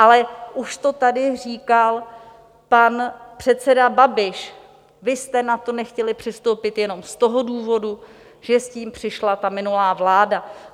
Ale už to tady říkal pan předseda Babiš, vy jste na to nechtěli přistoupit jenom z toho důvodu, že s tím přišla ta minulá vláda.